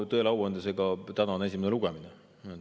Tõele au andes, täna on esimene lugemine.